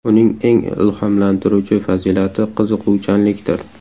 Uning eng ilhomlantiruvchi fazilati qiziquvchanlikdir.